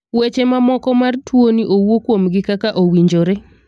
weche ma moko mar tuo ni owuo kuom gi kaka owinjore.